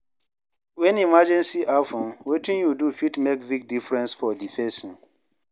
When emergency happen, wetin yu do fit mek big difference for di pesin.